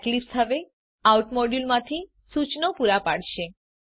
Eclipse હવે out module માંથી સૂચનો પૂરા પાડશે